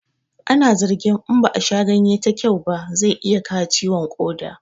Ana zargin in ba a sha ganye ta kyau ba zai iya kawo ciwon ƙoda